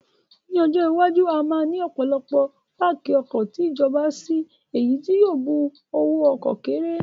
Ní ọjọ́ iwájú, a máa ní ọ̀pọ̀lọpọ̀ páàkì ọkọ̀ ti ìjọba si èyí tí yóò bu owó ọkọ̀ kéré